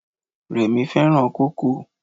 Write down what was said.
Rẹ̀mí fẹ́ràn kókò.